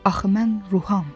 Axı mən ruham.